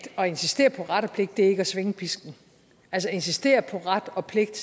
insistere på ret og pligt ikke er at svinge pisken altså at insistere på ret og pligt